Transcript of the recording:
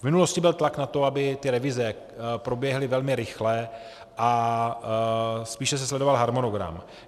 V minulosti byl tlak na to, aby ty revize proběhly velmi rychle, a spíše se sledoval harmonogram.